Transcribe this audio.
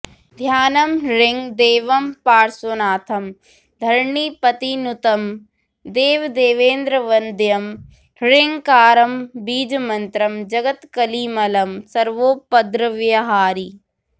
ध्यानं ह्रीं देवं पार्श्वनाथं धरणिपतिनुतं देवदेवेन्द्रवन्द्यं ह्रीङ्कारं बीजमन्त्रं जगदकलिमलं सर्वोपद्रव्यहारी